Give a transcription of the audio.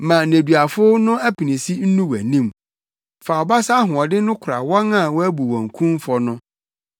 Ma nneduafo no apinisi nnu wʼanim; fa wo basa ahoɔden no kora wɔn a wɔabu wɔn kumfɔ no.